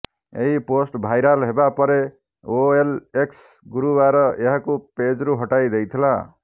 ଏହି post viral ହେବା ପରେ ଓଏଲଏକ୍ସ ଗୁରୁବାର ଏହାକୁ ପେଜରୁ ହଟାଇ ଦେଇଥିଲା